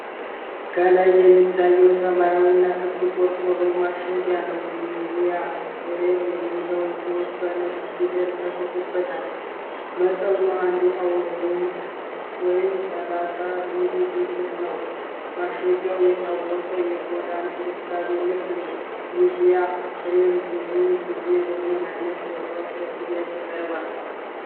ከላይ የሚታይ ሰማያዊና ክብ ቆርቆሮ ማሸጊያ ነው። ኒቪያ ክሬም የሚለው ጽሑፍ በነጭ ፊደል ተጽፎበታል። መጠኑ አንድ አውንስ ወይንም ሠላሳ ሚሊ ሊትር ነው። ማሸጊያው የታወቀ የቆዳ እንክብካቤ ምርት ነው። ኒቪያ ክሬም ብዙውን ጊዜ በምን አይነት ቦታዎች ለሽያጭ ይቀርባል?